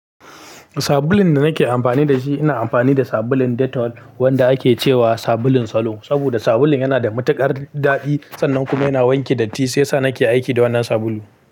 Sabulun da nake amfani da shi, ina amfani da sabulun Dettol wanda ake cewa sabulun salo. Saboda sabulun yana da matuƙar daɗi sannan kuma yana wanke datti shiyasa nake aiki da wannan sabulu.